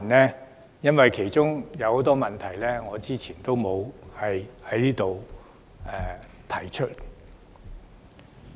這是因為有很多問題我之前沒有在此提出。